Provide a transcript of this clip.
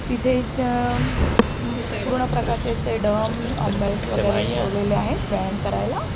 तिथे अ अं पूर्ण प्रकारचे वगैरे ठेवलेले आहेत व्यायाम करायला.